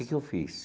Que que eu fiz?